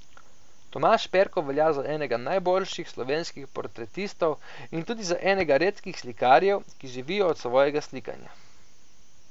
Tomaž Perko velja za enega najboljših slovenskih portretistov in tudi za enega redkih slikarjev, ki živijo od svojega slikanja.